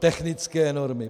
Technické normy.